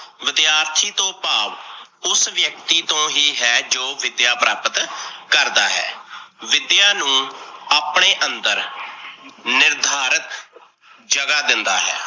ਵਿਦਿਆਰਥੀ ਤੋਂ ਭਾਵ ਉਸ ਵਿਅਕਤੀ ਤੋਂ ਹੀ ਹੈ ਜੋ ਵਿਦਿਆ ਪ੍ਰਾਪਤ ਕਰਦਾ ਹੈ, ਵਿਦਿਆ ਨੂੰ ਆਪਣੇ ਅੰਦਰ ਨਿਰਧਾਰਤ ਜਗਾ ਦਿੰਦਾ ਹੈ।